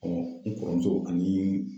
i kɔrɔmuso ani